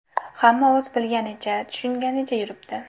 Hamma o‘z bilganicha, tushunganicha yuribdi.